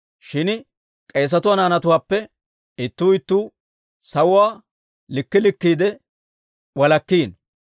Shin k'eesatuwaa naanatuwaappe ittuu ittuu sawuwaa likkii likkiide walakkiino.